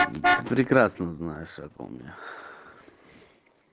ты прекрасно знаешь о ком я